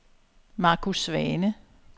Marcus Svane